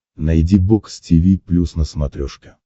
найди бокс тиви плюс на смотрешке